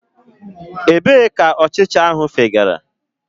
Ebee ka ọchịcha fegara?